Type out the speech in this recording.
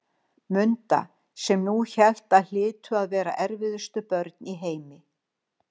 Munda, sem hún hélt að hlytu að vera erfiðustu börn í heimi.